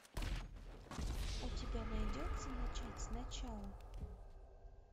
у тебя найдется начать с начала